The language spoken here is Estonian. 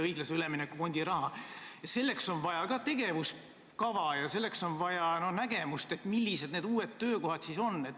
Selle kasutamiseks on vaja tegevuskava, selleks on vaja nägemust, millised need uued töökohad siis on.